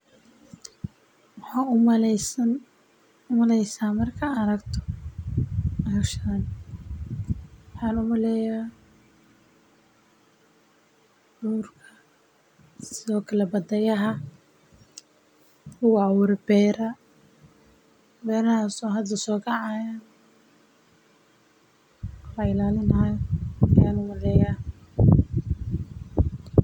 Maxaa u maleysaa markaad aragto howshan, waaxan umaleyaa durkaa sido kalee badada, laguu awuree beera, beerahaso hada sokacayo lailalin hayo yan u maleyaa.